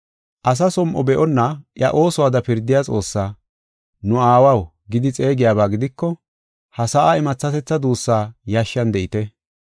Asa som7o be7onna iya oosuwada pirdiya Xoossaa, “Nu Aawaw” gidi xeegiyaba gidiko, ha sa7aa imathatetha duussaa yashshan de7ite.